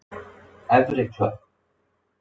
Efri Klöpp